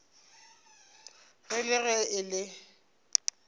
ra le ge e le